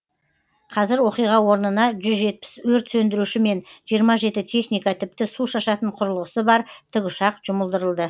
қазір оқиға орнына жүз жетпіс өрт сөндіруші мен жиырма жеті техника тіпті су шашатын құрылғысы бар тікұшақ жұмылдырылды